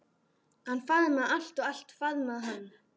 Hann faðmaði allt og allt faðmaði hann.